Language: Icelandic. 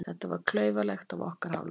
Þetta var klaufalegt af okkar hálfu.